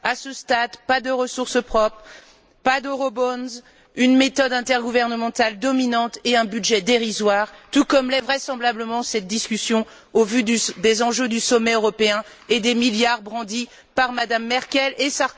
À ce stade, pas de ressources propres, pas d'euroobligations, une méthode intergouvernementale dominante et un budget dérisoire, tout comme l'est vraisemblablement cette discussion, au vu des enjeux du sommet européen et des milliards brandis par Mme Merkel et M.